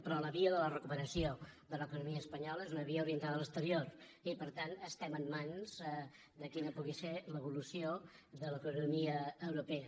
però la via de la recuperació de l’economia espanyola és una via orientada a l’exterior i per tant estem en mans de quina pugui ser l’evolució de l’economia europea